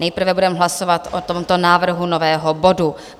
Nejprve budeme hlasovat o tomto návrhu nového bodu.